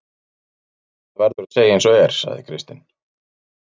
Það verður að segja eins og er, sagði Kristinn.